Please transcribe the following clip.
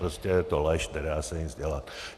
Prostě je to lež, nedá se nic dělat.